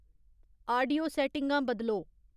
audio सैट्टिंगां बदलो